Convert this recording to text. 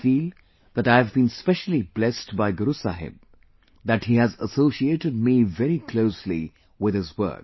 I feel that I have been specially blessed by Guru Sahib that he has associated me very closely with his work